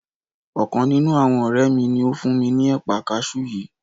Ọkàn nínú àwọn ọ̀rẹ́ mi ni ó fún mi ní ẹ̀pà kaṣú yìí